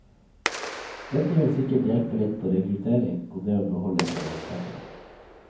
Dette ville sikkert hjelpe litt på rekruttering og det å beholde sine ansatte.